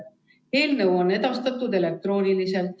Eelnõu on edastatud elektrooniliselt.